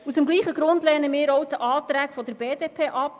Aus dem gleichen Grund lehnen wir die Anträge der BDP ab.